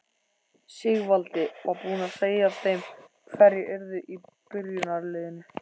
Sigvaldi var búinn að segja þeim hverjir yrðu í byrjunarliðinu.